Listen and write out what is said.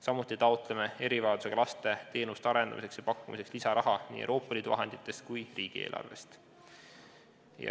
Samuti taotleme erivajadusega laste teenuste arendamiseks ja pakkumiseks lisaraha nii Euroopa Liidu vahenditest kui ka riigieelarvest.